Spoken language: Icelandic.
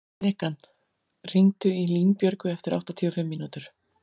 Bekan, hringdu í Línbjörgu eftir áttatíu og fimm mínútur.